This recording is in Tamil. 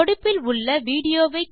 தொடுப்பில் உள்ள விடியோ வை காண்க